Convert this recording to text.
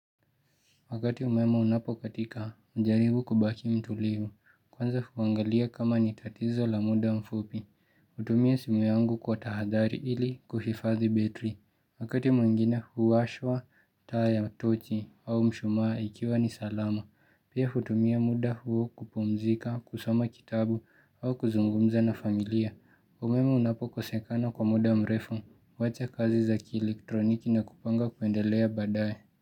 Wakati umeme unapokatika hujaribu kubaki mtulivu. Kwanza huangalia kama ni tatizo la muda mfupi, hutumia simu yangu kwa tahadhari ili kuhifadhi betri. Wakati mwingine huwashwa taa ya tochi au mshumaa ikiwa ni salama, pia hutumia muda huo kupumzika, kusoma kitabu au kuzungumza na familia. Umeme unapokosekana kwa muda mrefu, huwacha kazi za kielektroniki na kupanga kuendelea baadaye.